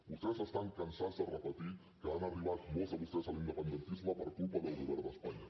vostès estan cansats de repetir que han arribat molts de vostès a l’independentisme per culpa del govern d’espanya